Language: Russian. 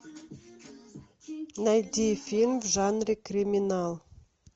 найди фильм в жанре криминал